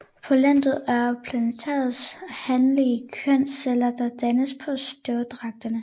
Pollenet er planternes hanlige kønsceller der dannes på støvdragerne